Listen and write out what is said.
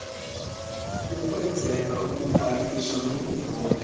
ukwenzela ukubhankisha nokuvota